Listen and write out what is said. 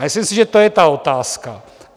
A myslím si, že to je ta otázka.